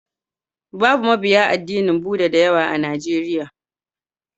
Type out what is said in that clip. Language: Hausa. Babu mabiya addinin Bhuda da yawa a Najeriya.